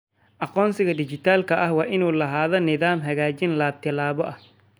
Aqoonsiga dhijitaalka ah waa inuu lahaadaa nidaam xaqiijin laba-tallaabo ah.